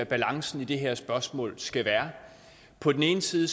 balancen i det her spørgsmål skal være på den ene side